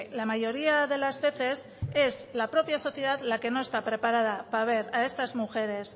la mayoría de las veces es la propia sociedad la que no está preparada para ver a estas mujeres